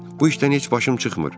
Bu işdən heç başım çıxmır.